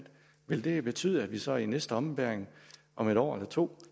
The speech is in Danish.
vil det betyde at vi så i næste ombæring om et år eller to